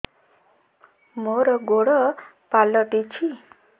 ମୋର ଗୋଡ଼ ପାଲଟିଛି